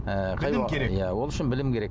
ы ол үшін білім керек